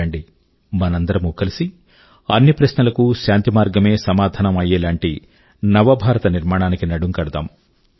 రండి మనందరమూ కలిసి అన్ని ప్రశ్నల కూ శాంతిమార్గమే సమాధానం అయ్యేలాంటి నవ భారత నిర్మాణానికి నడుం కడదాం